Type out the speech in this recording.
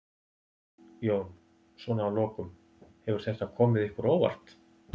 Jón: Svona að lokum, hefur þetta komið ykkur á óvart?